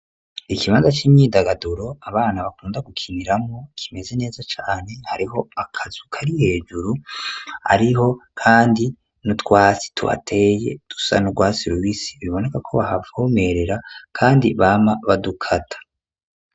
Ikibanza c'imyindagaduro, abana bakunda gukiniramwo kimeze neza cane, hariho akazu kari hejuru, hariho kandi n'utwasi tuhateye dusa n'urwatsi rubisi, biboneka ko bahavomerera kandi bama badukata.